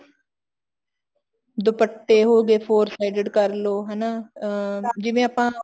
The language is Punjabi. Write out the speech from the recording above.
ਦੁਪੱਟੇ ਹੋਗੇ four sided ਕਰਲੋ ਹਨਾ ਅਮ ਜਿਵੇਂ ਆਪਾਂ